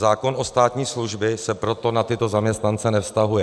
Zákon o státní službě se proto na tyto zaměstnance nevztahuje.